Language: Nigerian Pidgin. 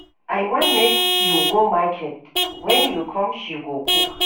I wan make you go market, wen you come she go cook.